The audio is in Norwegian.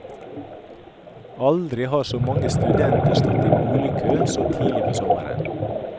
Aldri har så mange studenter stått i boligkø så tidlig på sommeren.